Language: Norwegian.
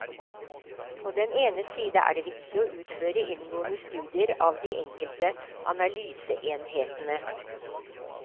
På den ene side er det viktig å utføre inngående studier av de enkelte analyseenhetene.